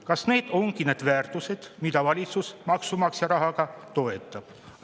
Kas need ongi need väärtused, mida valitsus maksumaksja rahaga toetab?